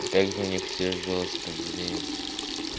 а как же у них все жёстко блин